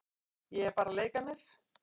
Ég er bara að leika mér.